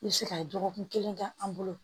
I bɛ se ka dɔgɔkun kelen kɛ an bolo